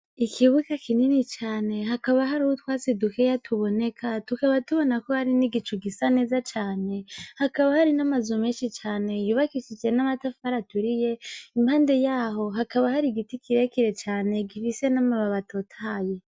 Ikibuga kinini cane hakaba hariho utwatsi dukeya tuboneka tukaba tubona ko hariho nigicu gisa neza cane, hakaba hari n'amazu menshi cane yubakishije n'amatafari aturiye impande yaho hakaba hariho igiti kirekire cane gifise n'amababi atotahaye.